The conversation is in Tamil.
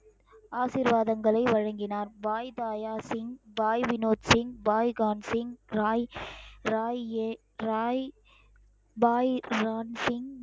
ஆசீர்வாதங்களை வழங்கினார் பாய் தாயாசின் பாய் வினோத்சிங் பாய்கான்சிங் பாய் ராய் ஏ ராய் பாய் ராம் சிங்